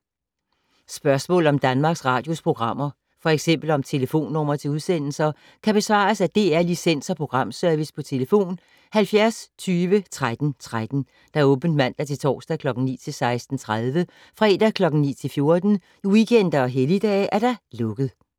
Spørgsmål om Danmarks Radios programmer, f.eks. om telefonnumre til udsendelser, kan besvares af DR Licens- og Programservice: tlf. 70 20 13 13, åbent mandag-torsdag 9.00-16.30, fredag 9.00-14.00, weekender og helligdage: lukket.